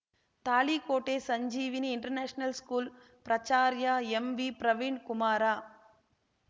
ತಾಳಿಕೋಟೆ ಸಂಜೀವಿನಿ inter national school ಪ್ರಾಚಾರ್ಯ ಎಂವಿಪ್ರವೀಣ್ ಕುಮಾರ